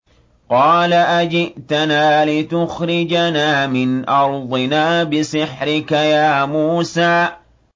قَالَ أَجِئْتَنَا لِتُخْرِجَنَا مِنْ أَرْضِنَا بِسِحْرِكَ يَا مُوسَىٰ